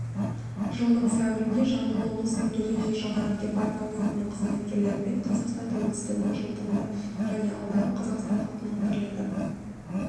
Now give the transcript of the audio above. жылдың сәуірінде жамбыл облысының төтенше жағдайлар департаментінің қызметкерлерімен қазақстан тәуелсіздігінің жылдығына және алдағы қазақстан халқының бірлігі